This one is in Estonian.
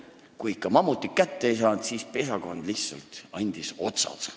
Kui ikka mammutit kätte ei saadud, siis andis pesakond lihtsalt otsad.